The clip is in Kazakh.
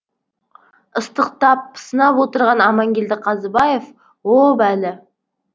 ыстықтап пысынап отырған амангелді қазыбаев о бәлі